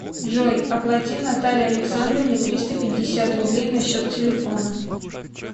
джой оплати наталье александровне триста пятьдесят рублей на счет телефона